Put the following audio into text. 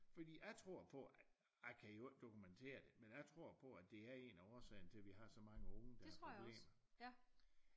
Fordi jeg tror på at jeg kan i øvrigt dokumentere det men jeg tror på at det er en af årsagerne til vi har så mange unge der har problemer